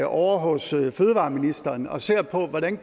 ovre hos fødevareministeren og ser på hvordan